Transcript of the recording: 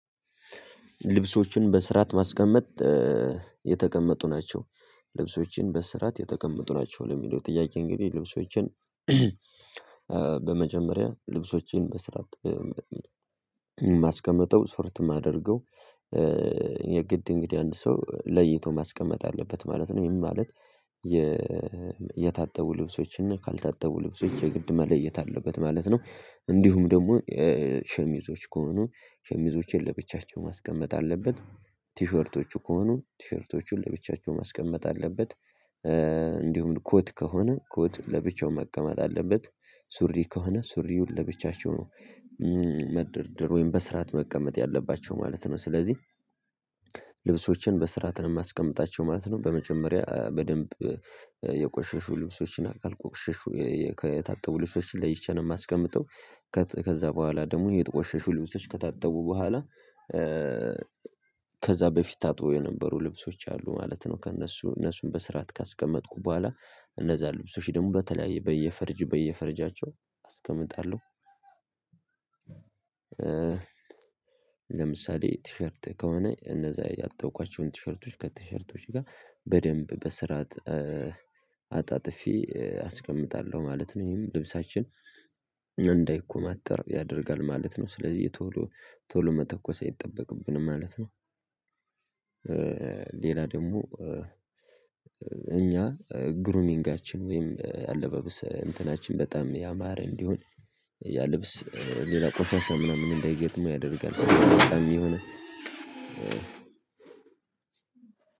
ልብሶችን በስራት ማስቀመጥ የተቀመጡ ናቸው ልብሶችን በስራት የተቀመጡ ናቸው ለሚለው ጥያቄ እንግዲህ ልብሶቼን በመጀመሪያ ልብሶችን በስራ ማስቀመጠው ስፍርት የማደርገው የግድ እንግዲህ አንድ ሰው ለይቶ ማስቀመጥ አለበት ማለት ነው ይሄ ማለት የታጠቡ ልብሶችን ካልታጠቡ ልብሶች የግድ ማለየት አለበት ማለት ነው። እንዲሁም ደግሞ ሸሚዞች ከሆኑ ሸሚዞቼን ለብቻቸው ማስቀመጥ አለበት። ቲሸርቶቹ ከሆኑ ቲሸርቶቹን ለብቻቸው ማስቀመጥ አለበት። እንዲሁም ኮት ከሆነ ኮት ለብቻው መቀመጥ አለበት። ሱሪ ከሆነ ሱሪውን ለብቻቸው ነው መደርደር ወይም በስራት መቀመጥ ያለባቸው ማለት ነው። ስለዚህ ልብሶችን በስርዓት ነው የማስቀምጣቸው ማለት ነው። በመጀመሪያ በደንብ የቆሸሹ ልብሶችን ካልቆሸሹ የታጠቡ ልብሶችን ለይቸን የማስቀምጠው የታጠቡ ልብሶች እና ካልታጠቡ ልብሶች የግድ ማለየት አለበት ማለት ነው እንዲሁም ደግሞ ሸሚዞች ከሆኑ ሸሚዞቼን ለብቻቸው ማስቀመጥ አለበት ቲሸርቶቹ ቲሸርቶቹን ለብቻቸው ማስቀመጥ አለበት ለምሳሌ ቲሸርት ከሆነ እነዛ ያጠብኳችሁን ቲሸርቶች ከቲሸርቶች ጋር በደንብ በስራት አጣጥፌ አስቀምጣለሁ ማለት ነው። ይሄም ልብሳችን እንዳይኮማተር ያደርጋል ማለት ነው ስለዚህ የቶሎ ቶሎ መተኮስ አይጠበቅብንም ማለት ነው። ሌላ ደግሞ እኛ ግሩሚንጋችን ወይም አለበብስ እንትናችን በጣም ያማረ እንዲሆን ያ ልብስ ሌላ ቆሻሻ ምናምን እንዳይገጥም ያደርጋል የሆነ